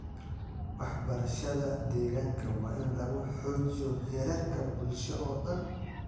Waxbarashada deegaanka waa in lagu xoojiyo heerarka bulsho oo dhan.